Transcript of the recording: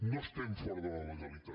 no estem fora de la legalitat